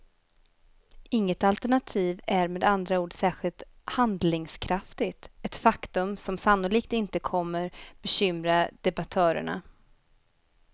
Inget alternativ är med andra ord särskilt handlingskraftigt, ett faktum som sannolikt inte kommer bekymra debattörerna.